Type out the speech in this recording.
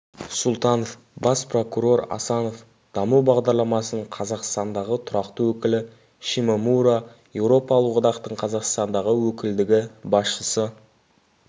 сұлтанов бас прокурор асанов даму бағдарламасының қазақстандағы тұрақты өкілі шимомура еуропалық одақтың қазақстандағы өкілдігі басшысы